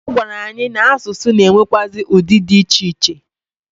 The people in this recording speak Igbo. Ọ gwara anyị na asụsụ na enwekwaazi udi di iche iche.